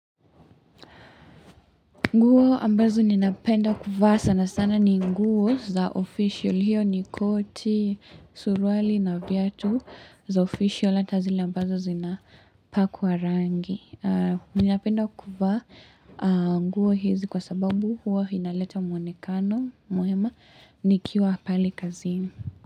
Nguo ambazo ninapenda kuvaa sana sana ni nguo za official hiyo ni koti, suruali na viatu za official ata zile ambazo zina pakuwa rangi. Ninapenda kuvaa nguo hizi kwa sababu huwa hinaleta muonekano mwema nikiwa pali kazi.